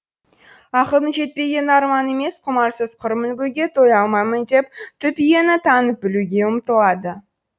ақылдың жетпегені арман емес құмарсыз құр мүлгуге тоя алмаймын деп түп иені танып білуге ұмтылады